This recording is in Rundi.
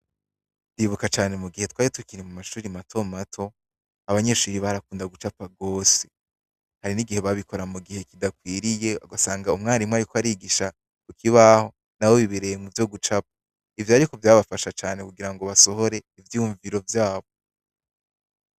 Ndibuka cane mugihe twari tukiri mumashuri mato mato ,abanyeshuri barakunda gucapa gose, hari n'igihe babikora mugihe kidakwiriye ugasanga umwarimu ariko yigisha kukibaho nabo bibereye muvyo gucapa ,ivyo ariko vyabafasha kugira ngo basohore ivyiyumviro vyabo .